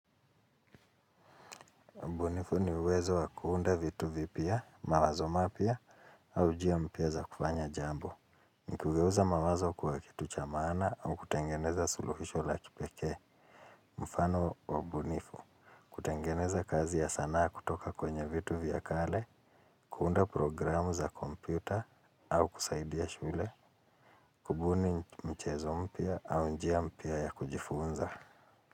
Mbunifu niwezo wa kuunda vitu vipia, mawazo mapia, au jia mpia za kufanya jambo. Nikugeuza mawazo kuwa kitu cha maana au kutengeneza suluhisho la kipeke. Mfano wa mbunifu, kutengeneza kazi ya sanaa kutoka kwenye vitu vya kale, kuunda programu za kompyuta, au kusaidia shule, kubuni mchezo mpia au jia mpia ya kujifunza.